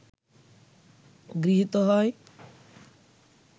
গৃহীত হয়